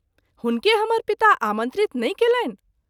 हुनके हमर पिता आमंत्रित नहिं कएलनि।